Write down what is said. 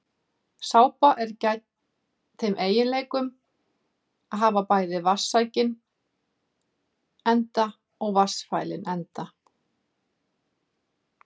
Sápa er þeim eiginleikum gædd að hafa bæði vatnssækinn enda og vatnsfælinn enda.